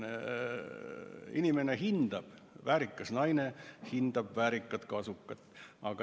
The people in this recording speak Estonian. Inimene hindab kasukat, väärikas naine hindab väärikat kasukat.